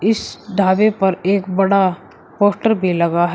इस ढाबे पर एक बड़ा पोस्टर भी लगा।